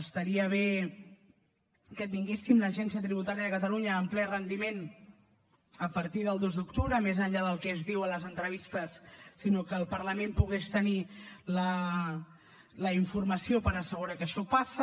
estaria bé que tinguéssim l’agència tributària de catalunya en ple rendiment a partir del dos d’octubre més enllà del que es diu a les entrevistes sinó que el parlament pogués tenir la informació per assegurar que això passa